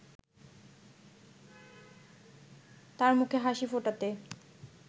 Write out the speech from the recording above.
তার মুখে হাসি ফোটাতে